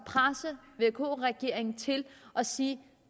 presse vk regeringen til at sige